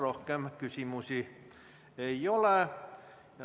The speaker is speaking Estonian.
Rohkem küsimusi ei ole.